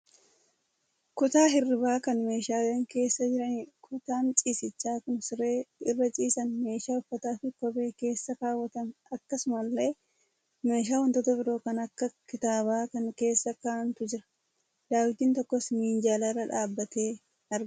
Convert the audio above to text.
Kutaa hirriibaa kan meeshaaleen keessa jiranidha. Kutaan ciisichaa kun siree irra ciisan, meeshaa uffataafi kophee keessa kaawwatan akkasumallee, meeshaa wantoota biroo kan akka kitaabaa kan keessa kaa'antu jira. Daawwitiin tokkos minjaalarra dhaabbatee argama.